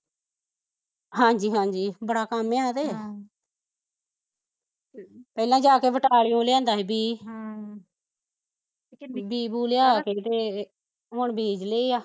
ਹਾਂਜੀ ਹਾਂਜੀ ਬੜਾ ਕੰਮ ਐ ਏਹ ਤੇ ਹਮ ਪਹਿਲਾਂ ਜਾਕੇ ਬਟਾਲਿਓ ਲਿਆਂਦਾ ਸੀ ਬੀ ਹਮ ਬੀਂ ਬੁ ਲਿਆ ਕੇ ਤੇ ਹੁਣ ਬੀਜ ਲਏ ਆ